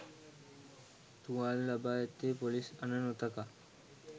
තුවාල ලබා ඇත්තේ පොලිස් අණ නොතකා